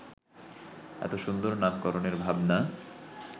এত সুন্দর নামকরণের ভাবনা